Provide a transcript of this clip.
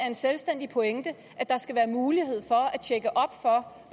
en selvstændig pointe at der skal være mulighed